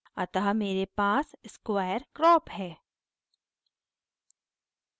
अतः मेरे पास square crop है